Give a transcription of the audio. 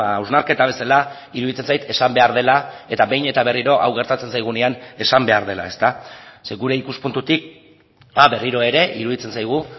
hausnarketa bezala iruditzen zait esan behar dela eta behin eta berriro hau gertatzen zaigunean esan behar dela zeren gure ikuspuntutik berriro ere iruditzen zaigu